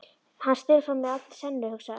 Hann stelur frá mér allri senunni, hugsaði Össur.